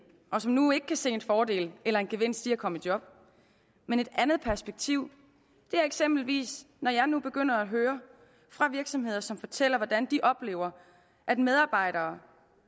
og som nu ikke kan se en fordel eller en gevinst i at komme i job men et andet perspektiv er eksempelvis når jeg nu begynder at høre fra virksomheder som fortæller hvordan de oplever at medarbejdere